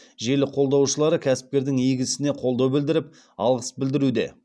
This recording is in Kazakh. желі қолдаушылары кәсіпкердің игі ісіне қолдау білдіріп алғыс білдіруде